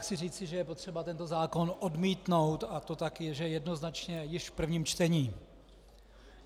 Chci říci, že je potřeba tento zákon odmítnout, a to tak, že jednoznačně již v prvním čtení.